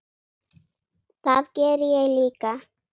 Það geri ég líka.